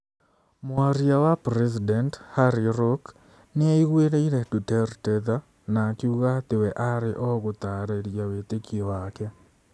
Mwaria wa president, Harry Roque, nĩ aiguĩrĩire Duterte tha na akiuga atĩ we aarĩ o gũtaarĩria wĩtĩkio wake.